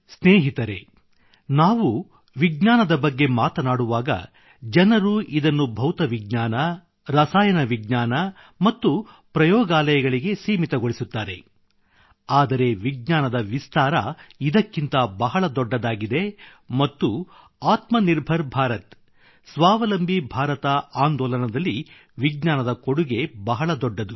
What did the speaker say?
ಸ್ನೇಹಿತರೆ ನಾವು ವಿಜ್ಞಾನದ ಬಗ್ಗೆ ಮಾತನಾಡುವಾಗ ಜನರು ಇದನ್ನು ಭೌತವಿಜ್ಞಾನ ರಾಸಾಯನಿಕ ವಿಜ್ಞಾನ ಮತ್ತು ಪ್ರಯೋಗಾಲಯಗಳಿಗೆ ಸೀಮಿತಗೊಳಿಸುತ್ತಾರೆ ಆದರೆ ವಿಜ್ಞಾನದ ವಿಸ್ತಾರ ಇದಕ್ಕಿಂತ ಬಹಳ ದೊಡ್ಡದಾಗಿದೆ ಮತ್ತು ಆತ್ಮನಿರ್ಭರ್ ಭಾರತ್ ಸ್ವಾವಲಂಬಿ ಭಾರತ ಆಂದೋಲನದಲ್ಲಿ ವಿಜ್ಞಾನದ ಕೊಡುಗೆ ಬಹಳ ದೊಡ್ಡದು